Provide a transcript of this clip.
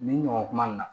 Nin ɲɔgɔn kuma in na